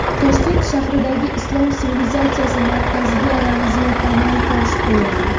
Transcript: Toshkent shahridagi Islom sivilizatsiyasi markaziga ramziy tamal toshi qo‘yildi.